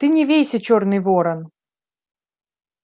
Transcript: ты не вейся чёрный ворон